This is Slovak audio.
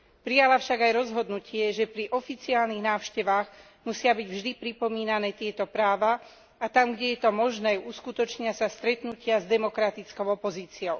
Prijala však aj rozhodnutie, že pri oficiálnych návštevách musia byť vždy pripomínané tieto práva, a tam, kde je to možné, uskutočnia sa stretnutia s demokratickou opozíciou.